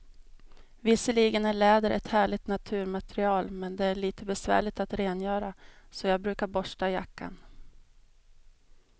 Visserligen är läder ett härligt naturmaterial, men det är lite besvärligt att rengöra, så jag brukar borsta jackan.